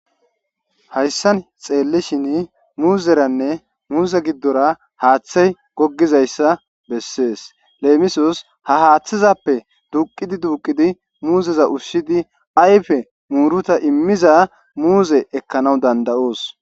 Hayssan xeellishin muuzeranne muuze giddora haaththi goggizayssa besses. Leemisos ha haaththezappe duuqid duuqidi muuzeza ushshidi ayfe muuruta immiza muuze ekkana danda'os.